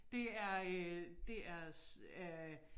Det er øh det er øh